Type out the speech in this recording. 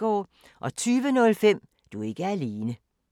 20:05: Du er ikke alene